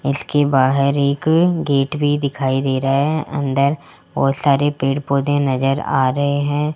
इसके बाहर एक गेट भी दिखाई दे रहे है अंदर बहोत सारे पेड़-पौधे नजर आ रहे है।